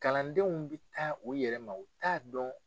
Kalandenw bi taa o yɛrɛ ma o t'a dɔn.